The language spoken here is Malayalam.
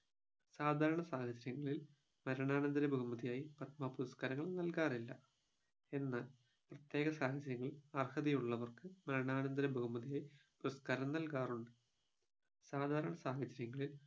സാധാരണ സാഹചര്യങ്ങളിൽ മരണാനന്തര ബഹുമതിയായി പത്മ പുരസ്കാരങ്ങൾ നൽകാറില്ല എന്നാൽ പ്രത്യേക സാഹചര്യങ്ങൾ അർഹതയുള്ളവർക്ക് മരണാനന്തര ബഹുമതിയായി പുരസ്കാരം നൽകാറുണ്ട് സാധാരണ സാഹചര്യങ്ങളിൽ